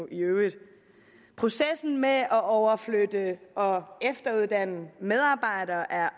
i øvrigt processen med at overflytte og efteruddanne medarbejdere er